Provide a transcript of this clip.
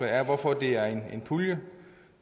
er hvorfor det er en pulje